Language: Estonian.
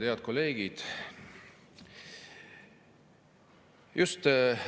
Head kolleegid!